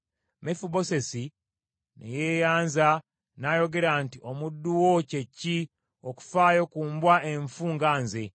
Mefibosesi ne yeeyanza n’ayogera nti, “Omuddu wo kye ki, okufaayo ku mbwa enfu nga nze?”